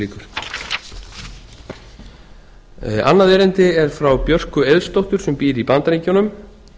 inga rós antoníusdóttir annað erindi er æðra björk eiðsdóttur sem býr í bandaríkjunum